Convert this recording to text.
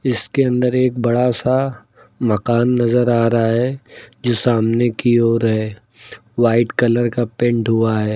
इसके अंदर एक बड़ा सा मकान नजर आ रहा है जो सामने की ओर है वाइट कलर का पेंट हुआ है।